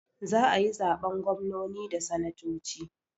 Za ayi zaɓen gwamnoni da sanatoci